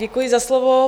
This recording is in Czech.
Děkuji za slovo.